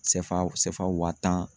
CFA CFA waa tan